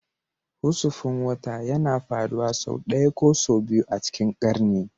Husufin wata yana faruwa sau ɗaya ko sau biyu a cikin ƙarni